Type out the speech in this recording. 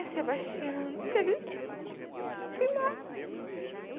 E a Sebastiana teve que... Fui embora. (chora durante a fala)